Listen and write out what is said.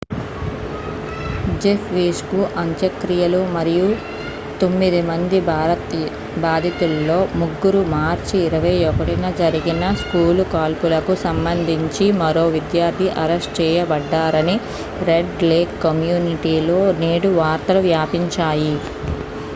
Jeff Weise కు అంత్యక్రియలు మరియు తొమ్మిది మంది బాధితుల్లో ముగ్గురు మార్చి 21న జరిగిన స్కూలు కాల్పులకు సంబంధించి మరో విద్యార్థి అరెస్టు చేయబడ్డారని రెడ్ లేక్ కమ్యూనిటీలో నేడు వార్తలు వ్యాపించాయి